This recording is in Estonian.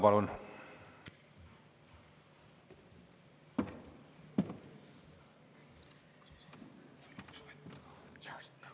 Palun!